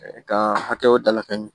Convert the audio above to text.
ka hakɛw dalakɛɲɛ